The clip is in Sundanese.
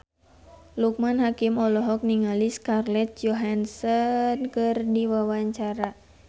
Loekman Hakim olohok ningali Scarlett Johansson keur diwawancara